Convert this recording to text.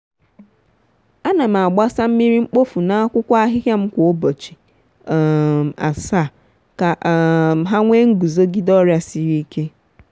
a na m agbasa mmiri mkpofu n’akwụkwọ ahịhịa m kwa ubochi um asaa ka um ha nwee nguzogide ọrịa siri ike.